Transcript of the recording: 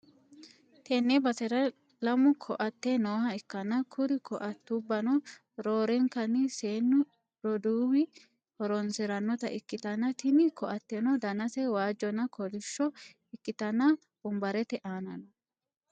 tenne basera lamu ko'atte nooha ikkanna, kuri ko'attubbano roorenkanni seennu roduuwi horonsi'ranota ikkitanna, tini ko'atteno danase waajjonna kolishsho ikkitanna, wonbarete aana no.